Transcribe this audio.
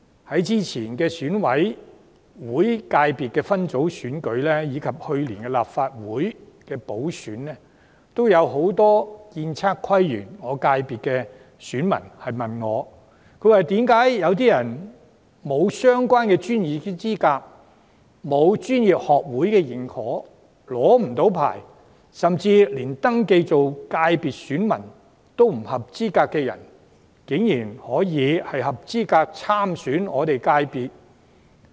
在2016年選舉委員會界別分組選舉及去年立法會補選舉行期間，均有不少建測規園功能界別的選民問我，為何有不具相關專業資格、未獲專業學會認可及未領取相關牌照，甚至不符合界別選民資格的人士，卻合資格參選我們的界別選舉？